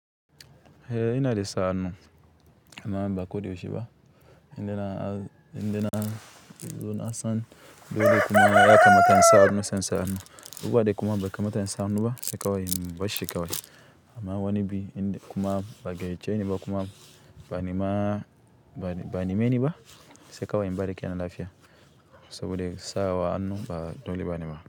Eh ina de sa hannu, amma ba koda yaushe ba indai indai na, na zo na san dole kuma ya kamata in sa hannu sai insa hannu abubuwa de kuma bai kamata in sa hannu sai kawai in barshi kawai. Amma wani bi inde kuma ba gaiyyace niba kuma ba ne ma ba ne me niba sai kawai in bari kenan lafiya. Sabode sawa hannu ba dole ba ne ba.